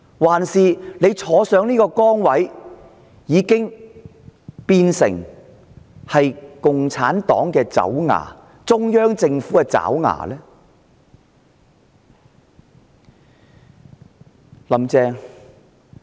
還是她坐上這個崗位後，便變成共產黨的爪牙、中央政府的爪牙？